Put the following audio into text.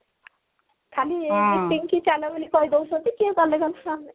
ଖାଲି meeting କି ଚାଲ ବୋଲି କହିଦଉଛନ୍ତି କିଏ ଗଲେ ଗଲା ନହେଲେ ନାଇଁ